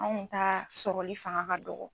Anw ka sɔrɔli fanga ka dɔgɔ